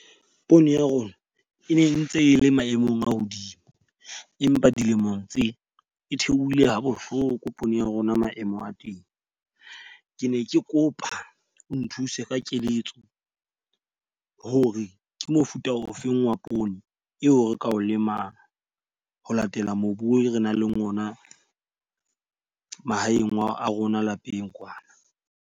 Poone ya rona, e ne ntse e le maemong a hodimo. Empa dilemong tsena e theohile ha bohloko poone ya rona maemo a teng. Ke ne ke kopa o nthuse ka keletso hore ke mofuta ofeng wa poone eo re ka o lemang ho latela mobu re nang le ona mahaeng a rona lapeng kwana.